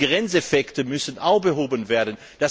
Und die Grenzeffekte müssen auch behoben werden.